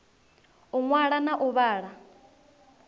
u ṅwala na u vhala